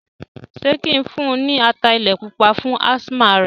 Ṣé kí n fún un ní ata ilẹ̀ pupa fún ásímà rẹ̀?